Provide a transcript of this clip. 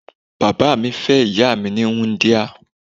Bàbá mi fẹ́ ìyá mi ní wúńdíá.